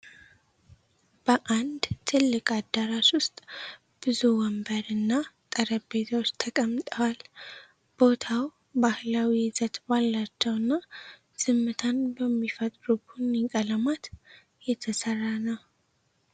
በአንድ ትልቅ አዳራሽ ዉስጥ ብዙ ወንበር እና ጠረጴዛዎች ተቀምጠዋል። ቦታው ባህላዊ ይዘት ባላቸው እና ዝምታን በሚፈጥሩ ቡኒ ቀለማት የተሰራ ነው።